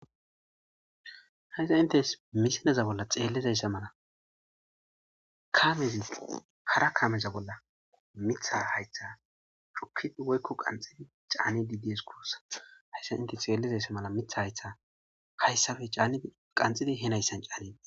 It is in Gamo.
hayta intes misileza bolla xeellizayssa mala kaamezi hara kaameza bolla mitha haytha cukkid woykko qanxidi caanedi dees gussa hayssa inte xeellizayssa mala mitha haytha hayssafe caani qanxidi he nayssan caani